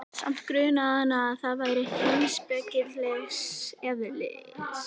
Samt grunaði hana, að það væri heimspekilegs eðlis.